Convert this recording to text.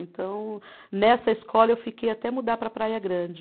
Então, nessa escola eu fiquei até mudar para Praia Grande.